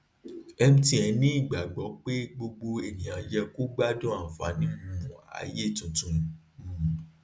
mtn ní ìgbàgbọ pé gbogbo ènìyàn yẹ kó gbádùn ànfààní um ayé tuntun um